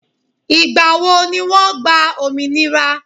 Ìgbà wo ni wọ́n gba òmìnira?